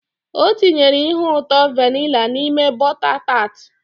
O tinyere ihe ụtọ vanilla n'ime bota taat